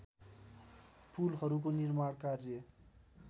पुलहरूको निर्माण कार्य